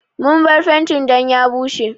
Mun bar fenti dan ya bushe.